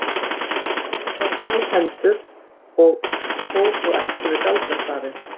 Hann gat skrifað tólf hendur og fór þó ekki með galdrastafi.